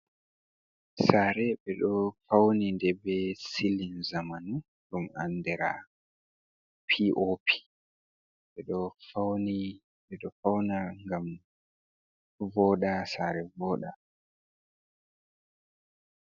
Sare ɓe ɗo fauni nde be silin zamanu ɗum andira piop, ɓe ɗo fauni ɓe ɗo fauna ngam ɗo voɗa sare voɗa.